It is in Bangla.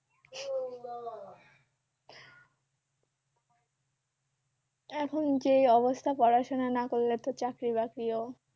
এখন যে অবস্থা পড়াশুনা না করলে তো চাকরি-বাকরিও